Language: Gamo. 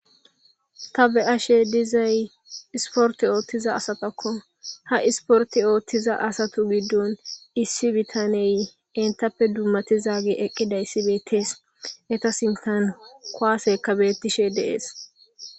Ta be'ashe dizay isportte ooththiza asatako ha isportte ooththiza asatu giddon issi bitaney eetappe dummatizage eqqidayssi beettees eeta sinththan kuwaseykka beetishe de'es.